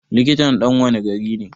Likitan ɗan wanne gari ne?